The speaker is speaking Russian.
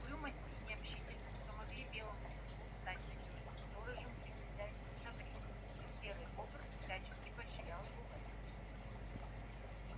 угрюмость и необщительность помогли белому клыку стать надёжным сторожем при хозяйском добре и серый бобр всячески поощрял его в этом